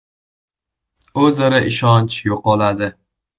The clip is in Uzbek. O‘zaro ishonch yo‘qoladi.